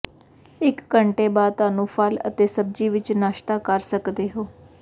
ਇਕ ਘੰਟੇ ਬਾਅਦ ਤੁਹਾਨੂੰ ਫਲ ਅਤੇ ਸਬਜ਼ੀ ਵਿੱਚ ਨਾਸ਼ਤਾ ਕਰ ਸਕਦੇ ਹੋ